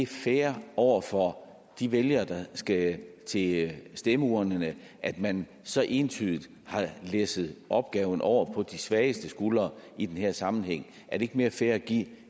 fair over for de vælgere der skal til stemmeurnerne at man så entydigt har læsset opgaverne over på de svageste skuldre i den her sammenhæng er det ikke mere fair at give dem